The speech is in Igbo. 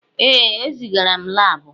Ee, ezigara m laabụ.